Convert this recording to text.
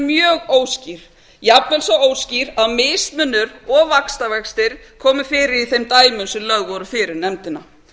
mjög óskýr jafnvel svo óskýr að mismunur og vaxtavextir komu fyrir í þeim dæmum sem lögð voru fyrir nefndina